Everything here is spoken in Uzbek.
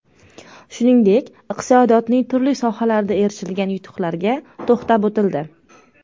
Shuningdek, iqtisodiyotning turli sohalarida erishilgan yutuqlarga to‘xtalib o‘tildi.